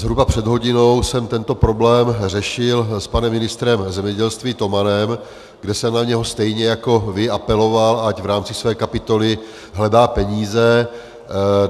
Zhruba před hodinou jsem tento problém řešil s panem ministrem zemědělství Tomanem, kde jsem na něho stejně jako vy apeloval, ať v rámci své kapitoly hledá peníze.